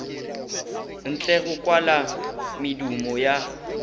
ntle go kwala medumo ya